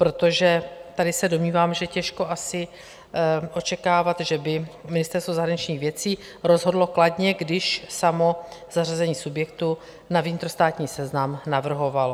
Protože tady se domnívám, že těžko asi očekávat, že by Ministerstvo zahraničních věcí rozhodlo kladně, když samo zařazení subjektu na vnitrostátní seznam navrhovalo.